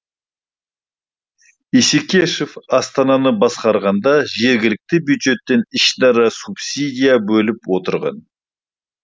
исекешов астананы басқарғанда жергілікті бюджеттен ішінара субсидия бөліп отырған